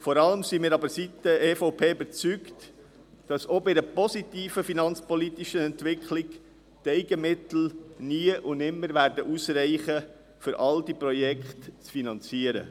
Vor allem jedoch sind wir von Seiten der EVP davon überzeugt, dass auch bei einer positiven finanzpolitischen Entwicklung die Eigenmittel nie und nimmer ausreichen werden, um all diese Projekte zu finanzieren.